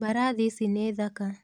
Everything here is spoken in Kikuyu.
Mbarathi ici nĩ thaka